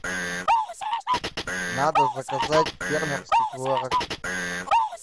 надо заказать фермерский творог